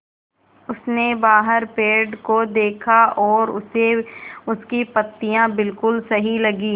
उसने बाहर पेड़ को देखा और उसे उसकी पत्तियाँ बिलकुल सही लगीं